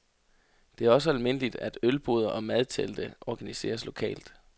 Det er også almindeligt, at ølboder og madtelte organiseres lokalt.